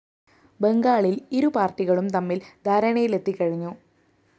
ബംഗാളില്‍ ഇരു പാര്‍ട്ടികളും തമ്മില്‍ ധാരണയിലെത്തി കഴിഞ്ഞു